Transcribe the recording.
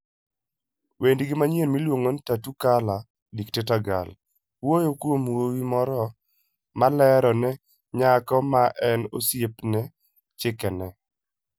Wendgi manyien miluongo ni Tattoo Colour 'Dictator Girl' wuoyo kuom wuowi moro ma lero ne nyako ma en osiepne chikene.